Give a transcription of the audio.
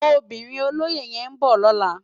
Óbirin ólóyé yèn n bò lòlá